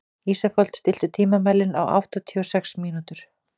Ísfold, stilltu tímamælinn á áttatíu og sex mínútur.